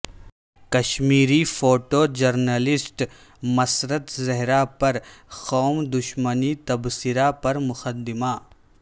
Kashmiri photo journalist Masrat Zahra پر قوم دشمن تبصرہ پر مقدمہ